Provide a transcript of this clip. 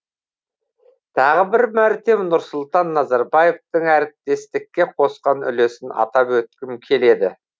тағы бір мәрте нұрсұлтан назарбаевтың әріптестікке қосқан үлесін атап өткім келеді